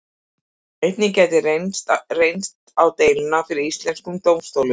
Einnig gæti reynt á deiluna fyrir íslenskum dómstólum.